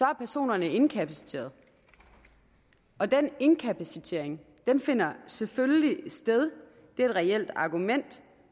er personerne inkapaciteret og den inkapacitering finder selvfølgelig sted det er et reelt argument